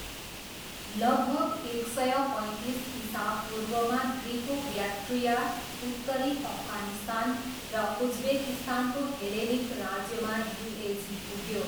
लगभग एक सय पैँतिस इसापूर्वमा ग्रिको ब्याक्ट्रिया, उत्तरी अफगानिस्तान र उज्बेकिस्तानको हेलेनिक राज्यमा युएझी पुग्यो।